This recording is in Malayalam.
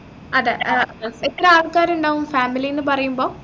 അതെ ഏർ എത്ര ആൾക്കാരുണ്ടാകും family ന്നു പറയുമ്പോ